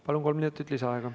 Palun, kolm minutit lisaaega.